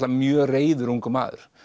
mjög reiður ungur maður